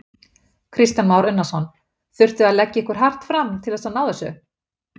Kristján Már Unnarsson: Þurftuð þið að leggja ykkur hart fram til þess að ná þessu?